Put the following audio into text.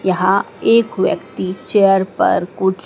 यहाँ एक व्यक्ति चेयर पर कुछ --